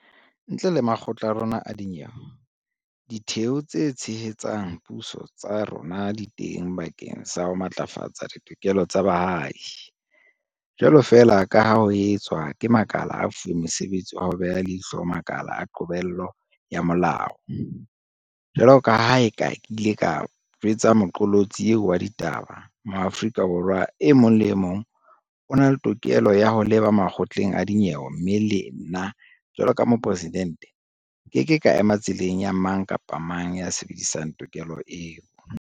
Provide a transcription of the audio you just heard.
Ntle le makgotla a rona a dinyewe, Ditheo tse Tshehetsang Puso tsa rona di teng bakeng sa ho matlafatsa ditokelo tsa baahi, jwalo feela ka ha ho etswa ke makala a fuweng mosebetsi wa ho beha leihlo makala a qobello ya molao. Jwaloka ha ke ile ka jwetsa moqolotsi eo wa ditaba, Moa-frika Borwa e mong le e mong o na le tokelo ya ho leba makgotleng a dinyewe mme le nna, jwaloka Moporesidente, nkeke ka ema tseleng ya mang kapa mang ya sebedisang tokelo eo.